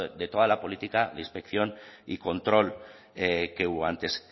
de toda la política inspección y control que hubo antes